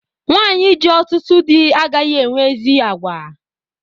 Nwanyi ji ọtụtụ dị agaghị enwe ezi àgwà